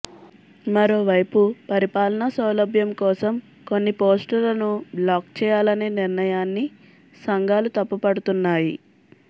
మరోవైపు పరిపాలన సౌలభ్యం కోసం కొన్ని పోస్టులను బ్లాక్ చేయాలనే నిర్ణయాన్ని సంఘాలు తప్పుపడుతున్నాయి